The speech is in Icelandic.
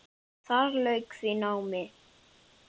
Þar lauk því námi.